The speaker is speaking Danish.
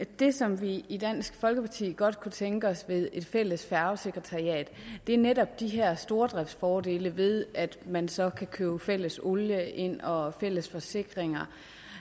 det som vi i dansk folkeparti godt kunne tænke os ved et fælles færgesekretariat er netop de her stordriftsfordele ved at man så kan købe fælles olie ind og fælles forsikringer